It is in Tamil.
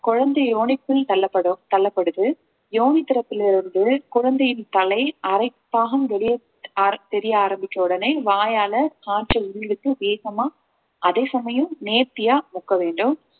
குழந்தைய யோனிக்குள் தள்ளப்படும் தள்ளப்படுது யோனி திறப்பில் இருந்த குழந்தையின் தலை அரை பாகம் வெளியே அரை~ தெரிய ஆரம்பிச்ச உடனே வாயால ஆற்றல் வேகமா அதே சமயம் நேர்த்தியா முக்க வேண்டும்